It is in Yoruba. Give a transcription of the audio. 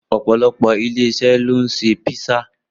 Opolopo ilé-iṣẹ́ ló ń ṣe písà